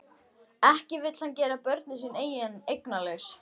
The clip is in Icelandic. Ekki vill hann gera börnin sín eignalaus.